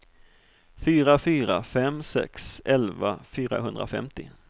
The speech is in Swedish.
fyra fyra fem sex elva fyrahundrafemtio